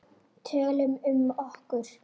Tölum um okkur.